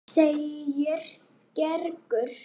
segir Gerður.